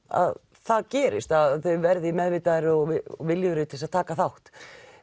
að það gerist að þau verði meðvitaðri og viljugri til að taka þátt